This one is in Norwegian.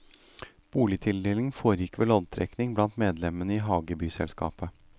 Boligtildelingen foregikk ved loddtrekning blant medlemmene i hagebyselskapet.